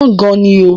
Gángan ni o.